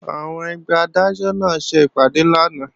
Àwọn ẹgbẹ́ Adájọ́ náà ṣe ìpàdé lánàá